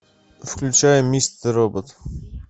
включай мистер робот